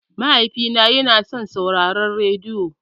Mahaifina yana son sauraron rediyo.